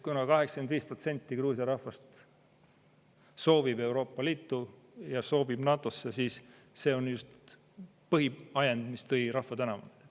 Kuna 85% Gruusia rahvast soovib Euroopa Liitu ja soovib NATO-sse, siis see on põhiajend, mis tõi rahva tänavale.